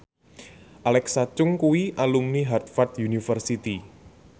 Alexa Chung kuwi alumni Harvard university